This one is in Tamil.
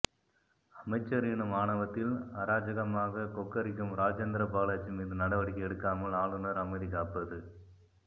அமைச்சர் எனும் ஆணவத்தில் அராஜகமாகக் கொக்கரிக்கும் ராஜேந்திர பாலாஜி மீது நடவடிக்கை எடுக்காமல் ஆளுநர் அமைதி காப்பது